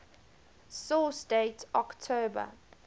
source date october